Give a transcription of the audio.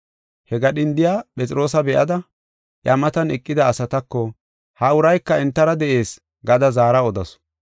He gadhindiya Phexroosa be7ada, iya matan eqida asatako, “Ha urayka entara de7ees” gada zaara odasu.